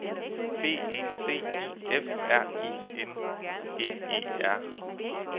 B E C I F R I N G E R